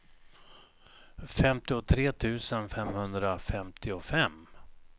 femtiotre tusen femhundrafemtiofem